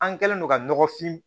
An kɛlen don ka nɔgɔfin